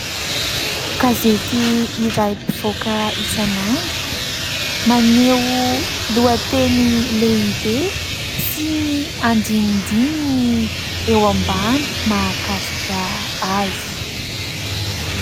Gazety iray mpivoaka isan'andro maneho lohateny lehibe sy ny andinindininy eo ambany mahakasika azy.